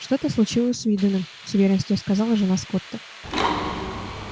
что то случилось с уидоном с уверенностью сказала жена скотта